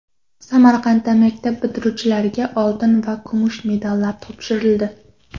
Samarqandda maktab bitiruvchilariga oltin va kumush medallar topshirildi .